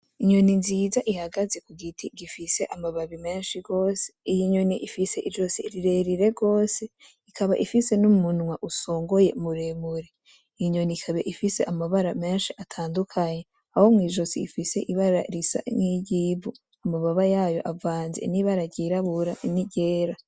Inyoni nziza ihagaze kugiti amababi meshi gose ,iyinyoni ifise izosi rirerire gose ikaba ifise n'umunwa usongoye muremure, inyoni ikaba ifise amabara meshi atandukanye aho mwijosi ifise ibara risa nkiryivu amababa yaryo avanze nibara ry'irabura ni ryera